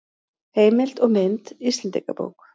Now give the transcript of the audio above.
Heimild og mynd Íslendingabók.